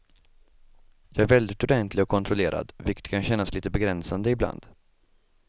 Jag är väldigt ordentlig och kontrollerad, vilket kan kännas litet begränsande ibland.